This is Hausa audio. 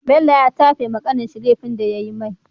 bello ya tafe wa kanin shi lefin da yayi mai